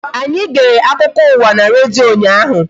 Anyi gere akụkọ ụwa n' redio ụnyaahụ